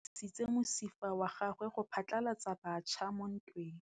Lepodisa le dirisitse mosifa wa gagwe go phatlalatsa batšha mo ntweng.